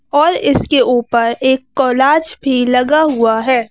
और इसके ऊपर एक कोलाज भी लगा हुआ है।